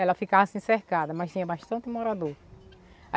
Ela ficava assim cercada, mas tinha bastante morador.